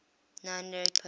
nine lyric poets